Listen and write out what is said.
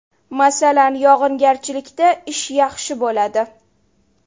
Masalan, yog‘ingarchilikda ish yaxshi bo‘ladi.